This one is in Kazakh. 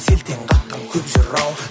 селтең қаққан көп жырау